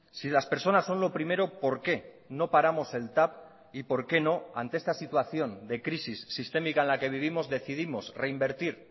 si las personas son lo primero por qué no paramos el tav y por qué no ante esta situación de crisis sistémica en la que vivimos decidimos reinvertir